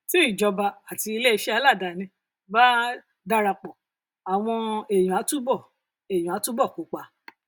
tí ìjọba àti iléeṣẹ aládàáni bá darapọ àwọn um ènìyàn á túbọ ènìyàn á túbọ kópa